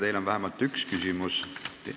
Teile on vähemalt üks küsimus.